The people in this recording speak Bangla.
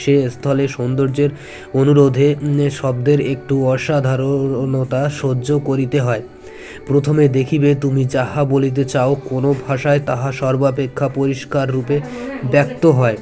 সে স্থলে সৌন্দর্যের অনুরোধে শব্দের একটু অসাধার-ণতা সহ্য করিতে হয় প্রথমে দেখিবে তুমি যাহা বলিতে চাও কোনো ভাষায় তাহা সর্বাপেক্ষা পরিস্কার রূপে ব্যক্ত হয়